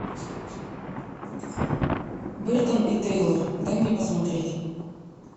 бертон и тейлор дай мне посмотреть